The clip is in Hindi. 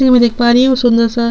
ती देख पा रह हूँ सुन्दर सा--